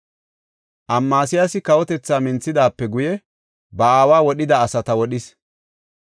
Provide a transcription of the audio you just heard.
Amasiyaasi kawotethaa minthidaape guye ba aawa wodhida asata wodhis.